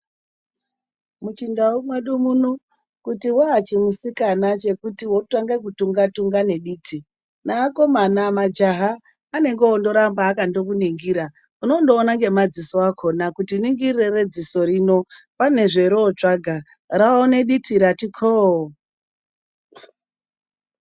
Muchindau mwedu muno, kuti waachimusikana chekuti wotange kutunga-tunga diti, neakomana ,majaha anenge ongoramba akango kuningira. Unongoona nemadziso akhona kuti ringirire redziso rino pane zverinotsvaka ,raone diti rati khoo.